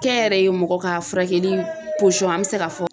Kɛnyɛrɛye mɔgɔ ka furakɛli an bɛ se ka fɔ